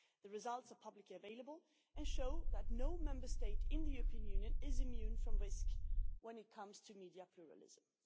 The results are publicly available and show that no Member State in the European Union is immune from risk when it comes to media pluralism.